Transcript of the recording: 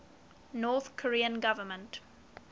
north korean government